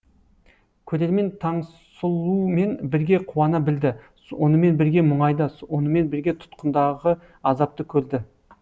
көрермен таңсұлумен бірге қуана білді онымен бірге мұңайды онымен бірге тұтқындағы азапты көрді